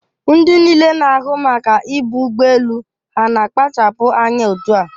Ndị niile na-ahụ maka ibu ụgbọ elu ha na-akpachapụ anya otua?